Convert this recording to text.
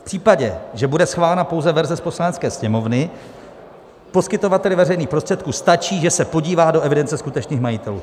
V případě, že bude schválena pouze verze z Poslanecké sněmovny, poskytovateli veřejných prostředků stačí, že se podívá do evidence skutečných majitelů.